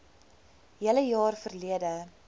hele jaar verlede